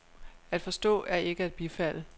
At forstå er ikke at bifalde.